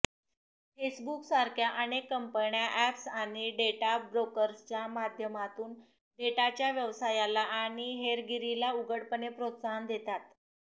फेसबुकसारख्या अनेक कंपन्या अॅप्स आणि डेटा ब्रोकर्सच्या माध्यमातून डेटाच्या व्यवसायाला आणि हेरगिरीला उघडपणे प्रोत्साहन देतात